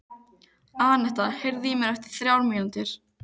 Annetta, heyrðu í mér eftir þrjár mínútur.